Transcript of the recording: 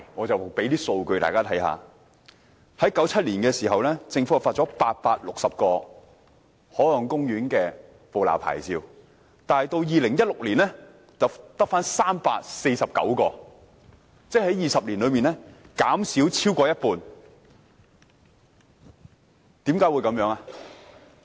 政府在1997年發出了860個海岸公園的捕撈牌照，但到2016年卻只剩下349個，即在20年裏牌照減少了超過一半。